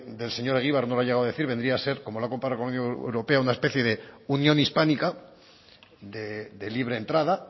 del señor egibar no lo ha llegado a decir vendría a ser como la ha comparado con la unión europeo una especie de unión hispánica de libre entrada